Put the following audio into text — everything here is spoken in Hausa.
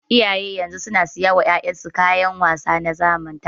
Iyayen yanzu suna siya wa 'ya'yan su kayan wasa ta zamani.